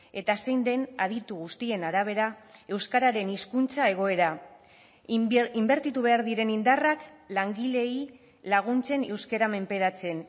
eta zein den aditu guztien arabera euskararen hizkuntza egoera inbertitu behar diren indarrak langileei laguntzen euskara menperatzen